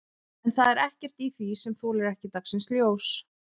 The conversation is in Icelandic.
En það er ekkert í því sem þolir ekki dagsins ljós?